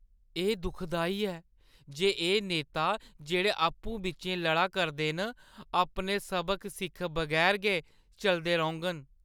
एह् दुखदाई ऐ जे एह् नेता जेह्ड़े आपूं-बिच्चें लड़ा करदे न, अपने सबक सिक्खे बगैर गै चलदे रौह्ङ‌न।